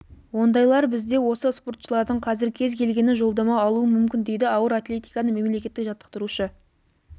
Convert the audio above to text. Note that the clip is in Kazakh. ондайлар бізде осы спортшылардың қазір кез келгені жолдама алуы мүмкін дейді ауыр атлетикадан мемлекеттік жаттықтырушы